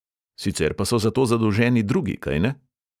Sicer pa so za to zadolženi drugi, kajne?